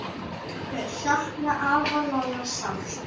Þau sakna afa Lolla sárt.